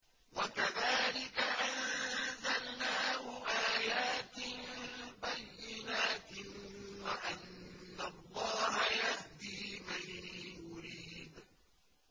وَكَذَٰلِكَ أَنزَلْنَاهُ آيَاتٍ بَيِّنَاتٍ وَأَنَّ اللَّهَ يَهْدِي مَن يُرِيدُ